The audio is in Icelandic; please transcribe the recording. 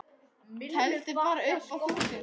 Teldu bara upp að þúsund.